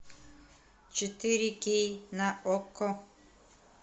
четыре кей на окко